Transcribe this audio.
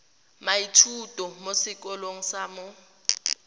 moithuti mo sekolong sa mo